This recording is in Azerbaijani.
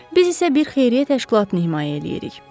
Biz isə bir xeyriyyə təşkilatını himayə eləyirik.